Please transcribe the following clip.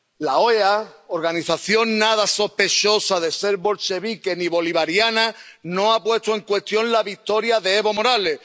La OEA, organización nada sospechosa de ser bolchevique ni bolivariana, no ha puesto en cuestión la victoria de Evo Morales